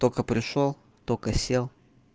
только пришёл только сел